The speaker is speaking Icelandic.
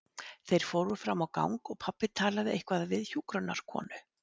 Þeir fóru fram á gang og pabbi talaði eitthvað við hjúkrunarkonu.